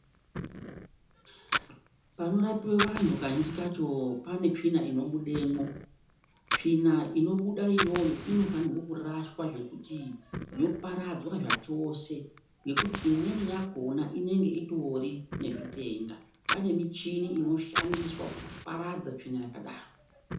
Panorapiwe vantu kazhinji kacho pane tsvina inobudemwo. Tsvina inobuda iyoyo inofanirwa kuraswa zvekuti yoparadzwa zvachose ngekuti imweni yakona inenge itori nezvitenda. Pane michini inoshandiswa kuparadza tsvina yakadaro.